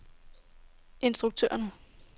instruktøren